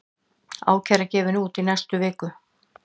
Ákæra gefin út í næstu viku